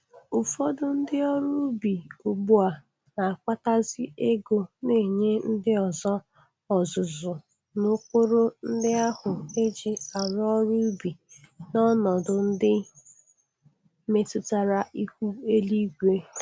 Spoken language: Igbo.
Ụfọdụ ndị ọrụ ubi ugbu a na-akpatazi ego n'nye ndị ọzọ ọzụzụ n'ụkpụrụ ndị ahụ e ji arụ ọrụ ụbi n'ọnọdụ ndị metụtara ihu eluigwe.